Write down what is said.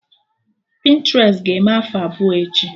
Pịntrest ga-eme afọ abụọ echi